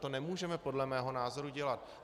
To nemůžeme podle mého názoru dělat.